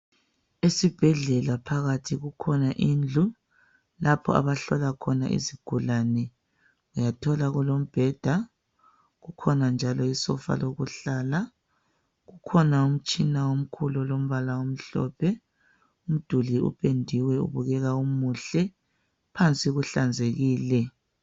Esibhedlela phakathi kukhona indlu lapho abahlola khona izigulani uyathola kulombheda kukhona njalo isofa lokuhlala kukhona umtshina omkhulu olombala omhlophe umduli upediwe ubukeka umuhle phansi kuhlanzekile.